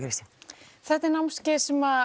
þetta er námskeið sem